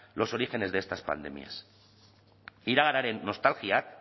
los orígenes de estas pandemias iraganaren nostalgiak